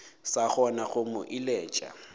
sa kgona go mo eleletša